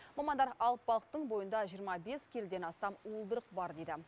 мамандар алып балықтың бойында жиырма бес келіден астам уылдырық бар дейді